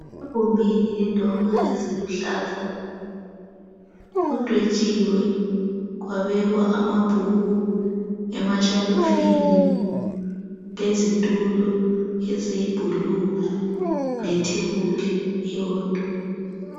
Egumbini lendonga eziluhlaza kudwetshiwe kwabekwa amabhuku emashalofini lezitulo eziyi 'blue' lethebuli eyodwa.